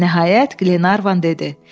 Nəhayət, Qlenarvan dedi: